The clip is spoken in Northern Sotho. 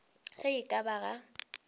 ge e ka ba ga